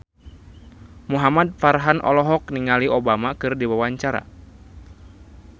Muhamad Farhan olohok ningali Obama keur diwawancara